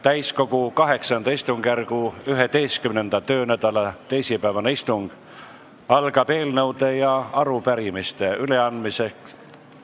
Täiskogu VIII istungjärgu 11. töönädala teisipäevane istung algab eelnõude ja arupärimiste üleandmisega.